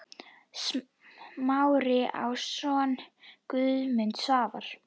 Smári á soninn Guðmund Svafar.